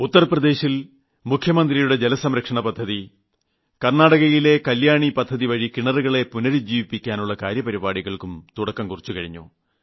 ഉത്തർപ്രദേശിൽ മുഖ്യമന്ത്രിയുടെ ജലസംരക്ഷണ പദ്ധതി കർണാടകയിലെ കല്യാണി പദ്ധതിവഴി കിണറുകളെ പുനരുജ്ജീവിപ്പിക്കാനുള്ള കാര്യപരിപാടികൾ എന്നിവയ്ക്കും തുടക്കം കുറിച്ചുകഴിഞ്ഞു